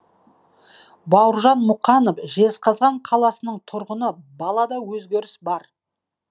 бауыржан мұқанов жезқазған қаласының тұрғыны балада өзгеріс бар